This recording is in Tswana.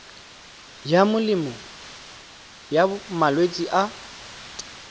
ya melemo ya malwetse a